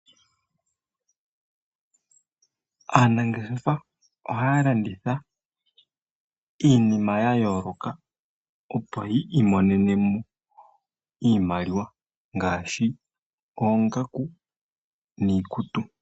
Aanangeshefa ohaya landitha iinima ya yooloka opo yi imonenemo iimaliwa. Ngaashi, oongaku, niikutu.